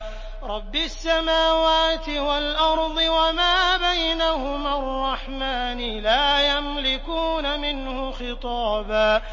رَّبِّ السَّمَاوَاتِ وَالْأَرْضِ وَمَا بَيْنَهُمَا الرَّحْمَٰنِ ۖ لَا يَمْلِكُونَ مِنْهُ خِطَابًا